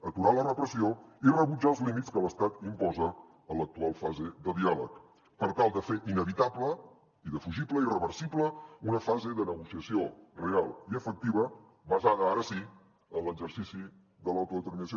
aturar la repressió i rebutjar els límits que l’estat imposa en l’actual fase de diàleg per tal de fer inevitable indefugible irreversible una fase de negociació real i efectiva basada ara sí en l’exercici de l’autodeterminació